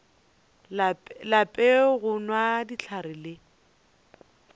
lape go nwa dihlare le